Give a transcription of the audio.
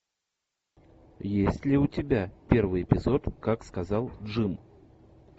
есть ли у тебя первый эпизод как сказал джим